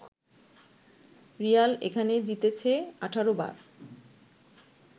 Real এখানে জিতেছে ১৮ বার